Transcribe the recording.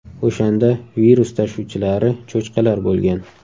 O‘shanda virus tashuvchilari cho‘chqalar bo‘lgan.